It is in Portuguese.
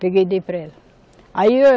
Peguei e dei para ela. Aí o